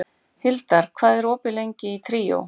Hildar, hvað er opið lengi í Tríó?